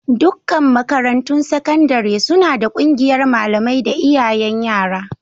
Dukkan makarantun sakandare suna da ƙungiyar malamai da iyayen yara.